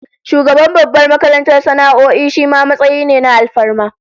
Shugaban babbar makarantar sana'o'i shima matsayi ne na alfarma